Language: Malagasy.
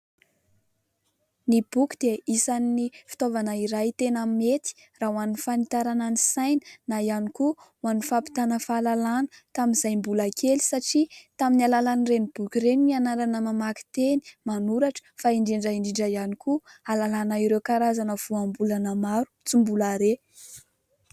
Ny boky dia isan'ny fitaovana iray tena mety raha ho an'ny fanitarana ny saina na ihany koa ho an'ny fampitàna fahalalàna tamin'izay mbola kely satria tamin'ny alalan'ireny boky ireny no nianarana namaky teny, manoratra fa indrindra indrindra ihany koa ahalalàna ireo karazana voambolana maro tsy mbola reha.